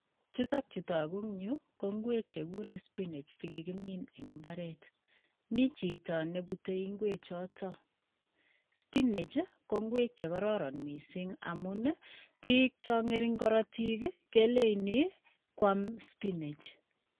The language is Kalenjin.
Chutokchu togu en yu ko nguek chekikure spinach chekikimin eng imbaret mi chito nebutei nguek choto spinach ko nguek chekororon mising amun piik cho ng'ering korotik keleini koam spinach